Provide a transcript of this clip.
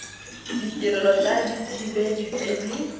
ditirelo tsa dithibedi tse di